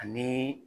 Ani